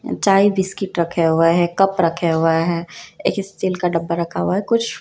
चाय बिस्किट रखे हुए है कप रखे हुए है एक स्टील का डब्बा रखा हुआ है कुछ--